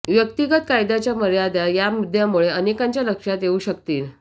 व्यक्तिगत कायद्याच्या मर्यादा या मुद्द्यामुळे अनेकांच्या लक्षात येऊ शकतील